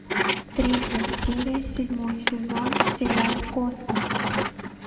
третья серия седьмой сезон сериал космос